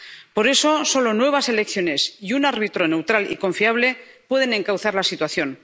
Por eso, solo nuevas elecciones y un árbitro neutral y confiable pueden encauzar la situación.